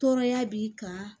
Tɔɔrɔya b'i kan